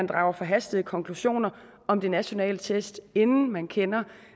drage forhastede konklusioner om de nationale test inden man kender